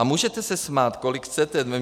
A můžete se smát, kolik chcete.